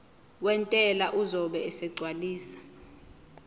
wentela uzobe esegcwalisa